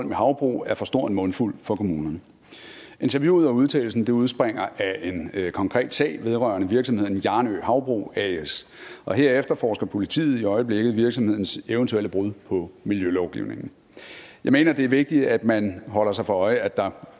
med havbrug er for stor en mundfuld for kommunerne interviewet og udtalelsen udspringer af en konkret sag vedrørende virksomheden hjarnø havbrug as og her efterforsker politiet i øjeblikket virksomhedens eventuelle brud på miljølovgivningen jeg mener at det er vigtigt at man holder sig for øje at der